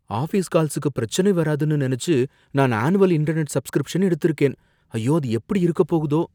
Office கால்ஸுக்கு பிரச்சனை வராதுன்னு நினைச்சு நான் ஆனுவல் இன்டெர்நெட் சப்ஸ்கிரிப்ஷன் எடுத்திருக்கேன், ஐயோ அது எப்படி இருக்கப் போகுதோ!